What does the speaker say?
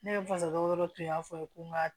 Ne ye fasajo dɔ tun y'a fɔ ko n ka